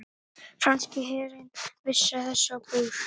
Franski herinn vísaði þessu á bug